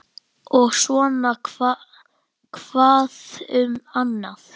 Og svona hvað um annað